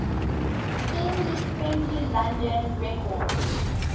indie friendly london records